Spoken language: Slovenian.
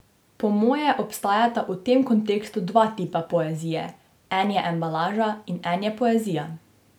Po moje obstajata v tem kontekstu dva tipa poezije, en je embalaža in en je poezija.